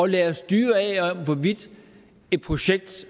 lade os styre af hvorvidt et projekt